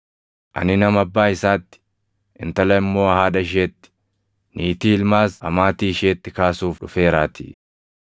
Ani, “ ‘Nama abbaa isaatti, intala immoo haadha isheetti, niitii ilmaas amaatii isheetti kaasuuf dhufeeraatii;